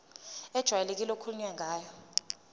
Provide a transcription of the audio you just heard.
ejwayelekile okukhulunywe ngayo